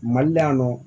Mali la yan nɔ